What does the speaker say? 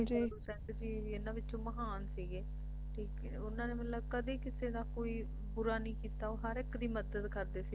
ਭਾਈ ਤਾਰੂ ਸਿੰਘ ਜੀ ਇਨ੍ਹਾਂ ਦੇ ਵਿਚੋਂ ਮਹਾਨ ਸੀਗੇ ਠੀਕ ਉਨ੍ਹਾਂ ਨੇ ਮਤਲਬ ਕਦੇ ਕਿਸੇ ਦਾ ਕੋਈ ਬੁਰਾ ਨਹੀਂ ਕੀਤਾ ਉਹ ਹਰ ਇੱਕ ਦੀ ਮਦਦ ਕਰਦੇ ਸੀ